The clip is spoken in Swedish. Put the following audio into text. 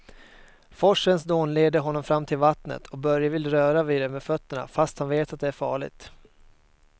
Forsens dån leder honom fram till vattnet och Börje vill röra vid det med fötterna, fast han vet att det är farligt.